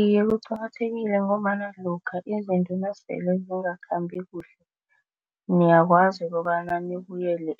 Iye, kuqakathekile ngombana lokha izinto nasele zingakhambi kuhle niyakwazi kobana nibuyela